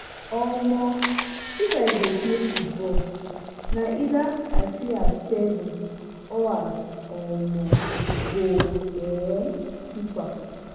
um if i dey play football na either i play as seven or as um goal um keeper.